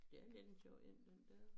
Ja det er en sjov én den dér